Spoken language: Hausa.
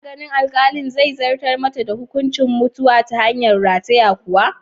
Kana ganin alkalin zai zartar mata da hukuncin mutuwa ta hanyar rataye kwa?